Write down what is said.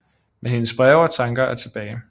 Men hendes breve og tanker er tilbage